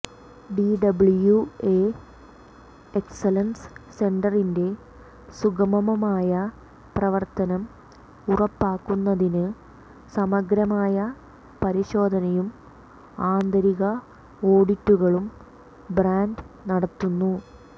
DWA excellence സെന്ററിന്റെ സുഗമമായ പ്രവർത്തനം ഉറപ്പാക്കുന്നതിന് സമഗ്രമായ പരിശോധനയും ആന്തരിക ഓഡിറ്റുകളും ബ്രാൻഡ് നടത്തുന്നു